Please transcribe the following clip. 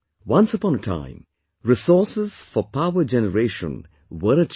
Once upon a time resources for power generation were a challenge